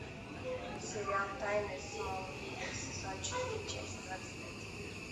сериал тайны смолвиля сезон четыре часть двадцать один